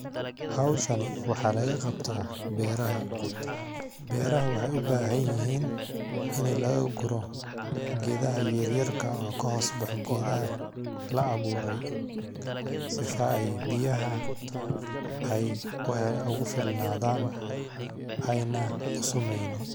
Hawshani waxaa laga qabtaa beeraha ,beeraha waxeey u baahan yihiin ini laga guro geedaha yaryarka oo ka hoos baxo geedaha la abuuray, sifa ay biyaha ay ugu filnadaan ayna u sumeynin.